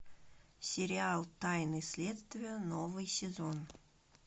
сериал тайны следствия новый сезон